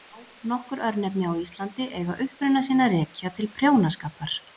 Já, nokkur örnefni á Íslandi eiga uppruna sinn að rekja til prjónaskapar.